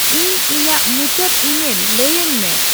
ᱤᱧ ᱤᱧᱟᱹᱜ ᱢᱩᱪᱟᱹᱫ ᱤᱢᱮᱞ ᱞᱟᱹᱭᱟᱹᱧ ᱢᱮ